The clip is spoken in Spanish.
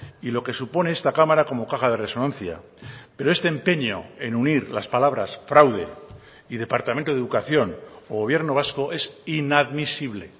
y lo que supone esta cámara como caja de resonancia pero este empeño en unir las palabras fraude y departamento de educación o gobierno vasco es inadmisible